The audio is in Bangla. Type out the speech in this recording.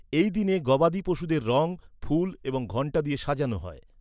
এই দিনে গবাদি পশুদের রং, ফুল এবং ঘন্টা দিয়ে সাজানো হয়।